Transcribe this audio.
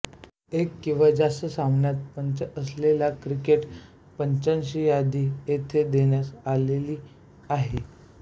एक किंवा जास्त सामन्यात पंच असलेल्या क्रिकेट पंचांची यादी येथे देण्यात आलेली आहे